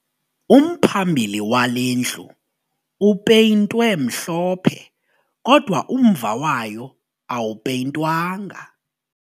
Umphambili wale ndlu upeyintwe mhlophe kodwa umva wayo awupeyintwanga